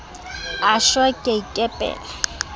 a shwa ke a ikepela